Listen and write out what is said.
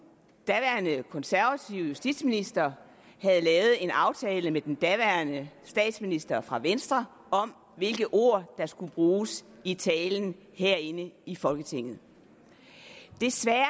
daværende konservativ justitsminister havde lavet en aftale med den daværende statsminister fra venstre om hvilke ord der skulle bruges i talen herinde i folketinget desværre